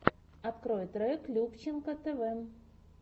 открой трек любченко тэвэ